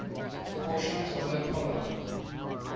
portions of the apollo